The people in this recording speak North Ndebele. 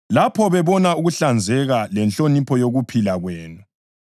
lapho bebona ukuhlanzeka lenhlonipho yokuphila kwenu.